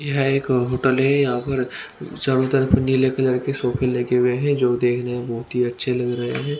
यहां एक होटल है यहां पर चारों तरफ नीले कलर के सोफे लगे हुए है जो देखने में बहुत ही अच्छे लग रहे है।